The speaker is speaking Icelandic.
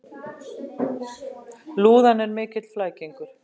Lúðan er mikill flækingur.